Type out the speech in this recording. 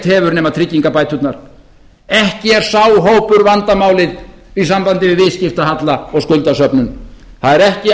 hefur nema tryggingabæturnar ekki er sá hópur vandamálið í sambandi við viðskiptahalla og skuldasöfnun það eru ekki